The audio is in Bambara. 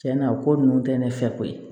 Tiɲɛna o ko ninnu tɛ ne fɛ ko ye